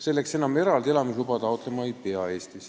Selleks enam Eestis eraldi elamisluba taotlema ei pea.